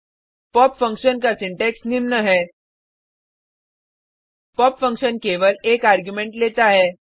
pop function का syntax निम्न है पॉप फंक्शन केवल एक आर्गुमेंट लेता है